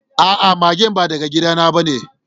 A'a, magen ba daga gida na ba ne.